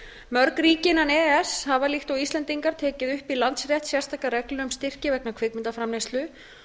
mörg ríki innan e e s hafa líkt og íslendingar tekið upp í landsrétt sérstakar reglur um styrki vegna kvikmyndaframleiðslu